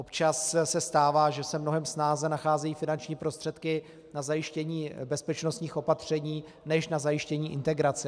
Občas se stává, že se mnohem snáze nacházejí finanční prostředky na zajištění bezpečnostních opatření než na zajištění integrace.